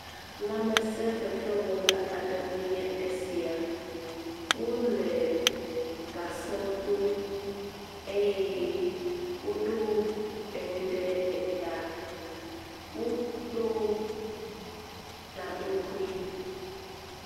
Lamesefefewɔla aɖewoe nye esia. Wo le gasɔ dom eye woɖo eŋu ɖe eta. Wo ɖo gaŋkui.